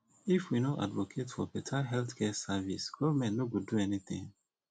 if we no advocate for beta healthcare service government no go do anything